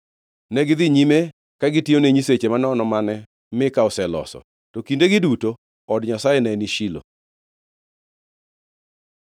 Negidhi nyime ka gitiyone nyiseche manono mane Mika oseloso, to kindegi duto od Nyasaye neni Shilo.